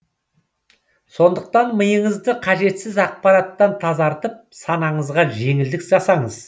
сондықтан миыңызды қажетсіз ақпараттан тазартып санаңызға жеңілдік жасаңыз